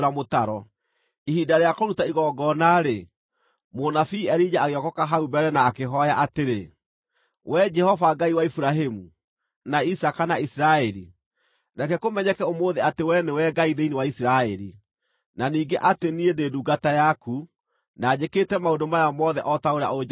Ihinda rĩa kũruta igongona-rĩ, mũnabii Elija agĩokooka hau mbere na akĩhooya atĩrĩ: “Wee Jehova Ngai wa Iburahĩmu, na Isaaka, na Isiraeli, reke kũmenyeke ũmũthĩ atĩ Wee nĩwe Ngai thĩinĩ wa Isiraeli, na ningĩ atĩ niĩ ndĩ ndungata yaku na njĩkĩte maũndũ maya mothe o ta ũrĩa ũnjathĩte.